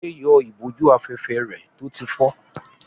Fadé yọ ìbòjú-afẹ́fẹ́ rẹ̀ tó ti fọ́.